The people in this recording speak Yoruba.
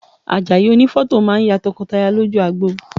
Àjàyí onífọ́tò máa ya tọkọtaya lójú agbo